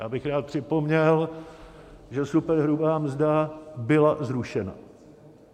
Já bych rád připomněl, že superhrubá mzda byla zrušena.